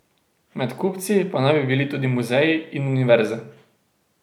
Med kupci pa naj bi bili tudi muzeji in univerze ...